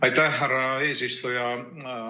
Aitäh, härra eesistuja!